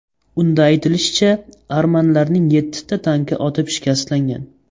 Unda aytilishicha, armanlarning yettita tanki otib shikastlangan.